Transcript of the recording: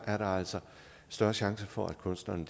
er der altså større chance for at kunstnerne